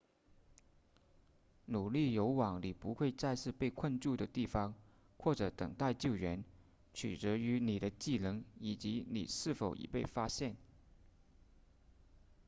努力游往你不会再次被困住的地方或者等待救援取决于你的技能以及你是否已被发现